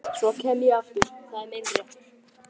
Svo kem ég aftur, það er minn réttur.